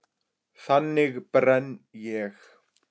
Þannig brenn ég.